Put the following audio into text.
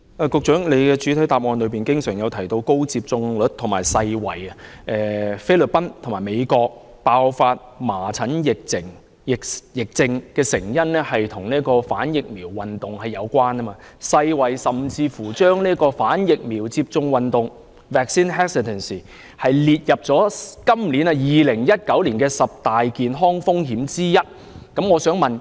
局長在主體答覆經常提到高接種率和世衞，並指菲律賓和美國爆發麻疹疫症的成因，跟反疫苗運動有關，世衞甚至把"反疫苗接種運動"列為2019年十大健康風險之一。